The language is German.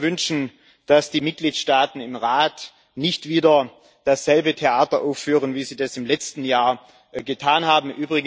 Ich würde mir wünschen, dass die Mitgliedstaaten im Rat nicht wieder dasselbe Theater aufführen, wie sie das im letzten Jahr getan haben.